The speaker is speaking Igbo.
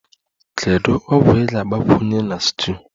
Kedu ogwu ị ga-agbakwunye na stew?